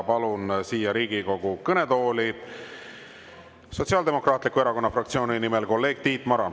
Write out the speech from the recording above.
Palun siia Riigikogu kõnetooli Sotsiaaldemokraatliku Erakonna fraktsiooni nimel kolleeg Tiit Marani.